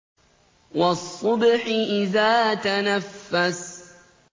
وَالصُّبْحِ إِذَا تَنَفَّسَ